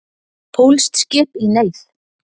Pólskt skip í neyð